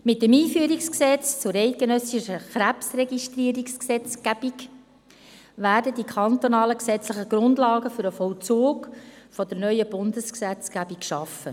Mit dem EG KRG werden die kantonalen gesetzlichen Grundlagen für den Vollzug der neuen Bundesgesetzgebung geschaffen.